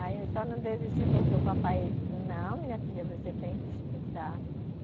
Aí eu só não desisti porque o papai. Não, minha filha, você tem que estudar.